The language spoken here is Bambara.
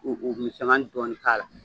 U u k'u mi sangani dɔɔni k'a la